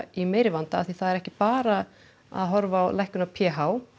í meiri vanda af því að það er ekki bara að horfa á lækkun p h